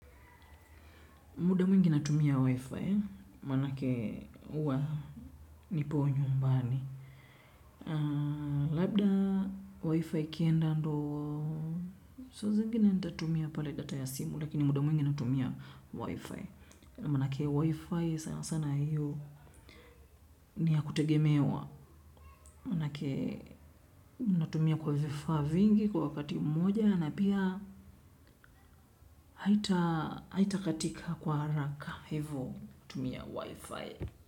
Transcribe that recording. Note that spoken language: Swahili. Muda mwingi natumia wi-fi maanake huwa nipo nyumbani. Labda wi-fi ikienda ndio saa zingine nitatumia pale data ya simu lakini muda mwingi natumia wi-fi. Maanake wi-fi sana sana hiyo ni ya kutegemewa. Maanake natumia kwa vifaa vingi kwa wakati mmoja na pia haitakatika kwa haraka. Hivo tumia wi-fi.